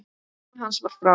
Kona hans var frá